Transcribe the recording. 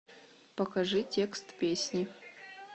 покажи текст песни